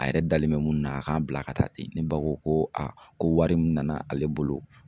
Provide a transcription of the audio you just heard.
A yɛrɛ dalen bɛ mun na, a k'an bila ka taa ten . Ne ba ko ko a ko wari mun nana ale bolo